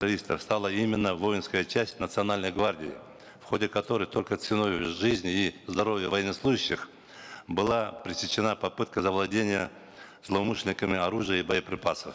правительства стала именно воинская часть национальной гвардии в ходе которой только ценою жизни и здоровья военнослужащих была пресечена попытка завладения злоумышленниками оружия и боеприпасов